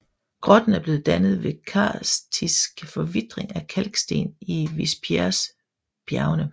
Grotten er blevet dannet ved karstisk forvitring af kalksten i Vispieresbjergene